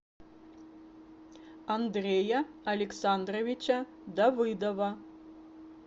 андрея александровича давыдова